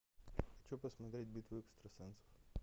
хочу посмотреть битву экстрасенсов